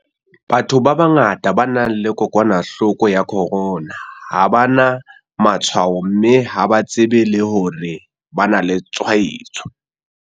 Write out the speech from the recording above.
Batho ba bangata ba nang le kokwanahloko ya corona ha ba na matshwao mme ha ba tsebe le hore ba na le tshwaetso.